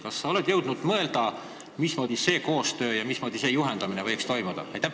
Kas sa oled jõudnud mõelda, mismoodi see koostöö ja nende komisjonide juhendamine võiks toimuda?